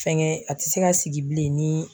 Fɛnkɛ a tɛ se ka sigi bilen ni